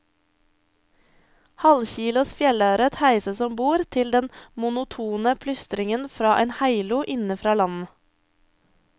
Halvkilos fjellørret heises om bord til den monotone plystringen fra en heilo inne fra land.